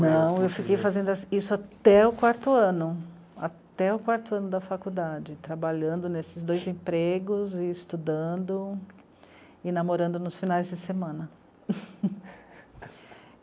Não, eu fiquei fazendo isso até o quarto ano, até o quarto ano da faculdade, trabalhando nesses dois empregos e estudando e namorando nos finais de semana.